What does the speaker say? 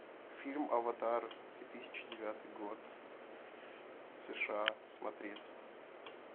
фильм аватар две тысячи девятый год сша смотреть